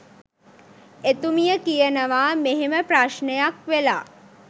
එතුමිය කියනවා මෙහෙම ප්‍රශ්නයක් වෙලා